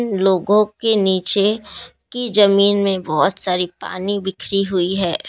लोगों के नीचे की जमीन में बहुत सारी पानी बिखरी हुई है।